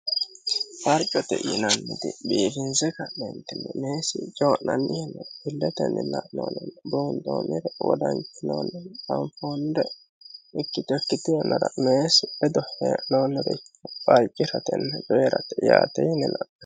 Farcote yinanniti biifinse ka'neentinne meesi joo'nannihinne illetenni lanoonenne buundoomire wodanchinoonne danfonde ikkitekkiti yanara meesi bedo hee noonnoreko farciratenni coyiirate yaate yininann